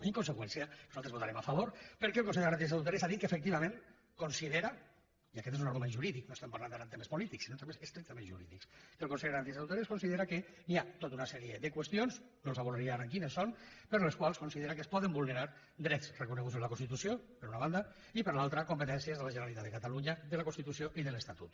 en conseqüència nosaltres votarem a favor perquè el consell de garanties estatutàries ha dit que efectivament considera i aquest és un argument jurídic no parlem ara en termes polítics sinó en termes estrictament jurídics que hi ha tota una sèrie de qüestions no els avorriré ara amb quines són per les quals considera que es poden vulnerar drets reconeguts en la constitució per una banda i per l’altra competències de la generalitat de catalunya de la constitució i de l’estatut